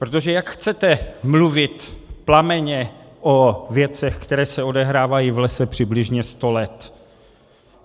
Protože jak chcete mluvit plamenně o věcech, které se odehrávají v lese přibližně sto let?